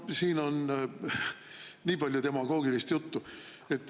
No siin on nii palju demagoogilist juttu.